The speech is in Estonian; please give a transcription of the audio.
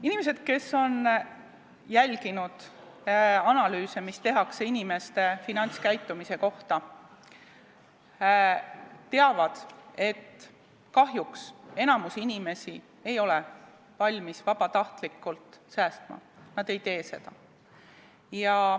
Inimesed, kes on jälginud analüüse, mida tehakse finantskäitumise kohta, teavad, et kahjuks enamik inimesi ei ole valmis vabatahtlikult säästma, nad ei tee seda.